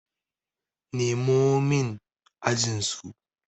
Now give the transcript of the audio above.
Nemo min ajinsu!